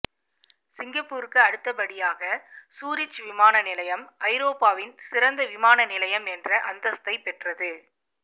சிங்கப்பூருக்கு அடுத்தபடியாக சூரிச் விமானநிலையம் ஐரோப்பாவின் சிறந்த விமான நிலையம் என்ற அந்தஸ்த்தை பெற்றது